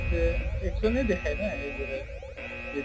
আছে, action য়ে দেখায় ন advertise যে